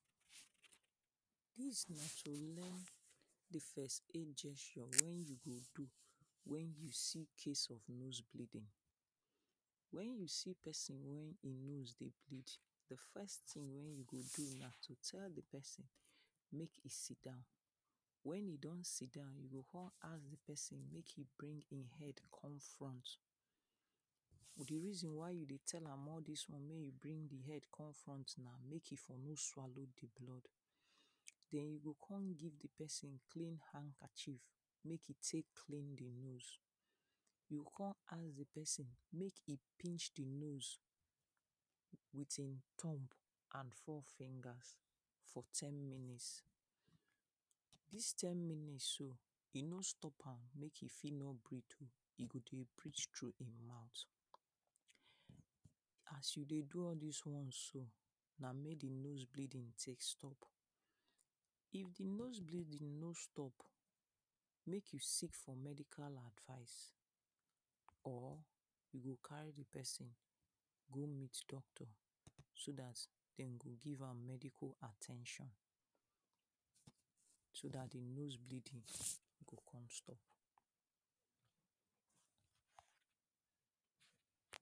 Dis na to learn di first aid gesture wen you see case of nose bleeding, wen you see pesin wey im nose dey bleed di first tin wey you go do na to tell di pesin make e sit down wen im don sit down you go kon ask di pesin make e bring im head come front, di reason why you dey tell am all dis one make e bring im head come front na make e for no swallow di blood den you go kon give di pesin clean handkerchief make e take clean di nose you go kon ask di pesin make e pinch di nose with im thumb and four fingers for ten minutes, dis ten minutes so e no stop am make e fit no breath oh e go dey breath through im mouth as you dey do all dis ones so na make di nose bleeding take stop if di nose bleeding no stop make you seek for medical advice or you go carry di pesin go meet doctor so dat dem go give am medical at ten tion so dat di nose bleeding go kon stop.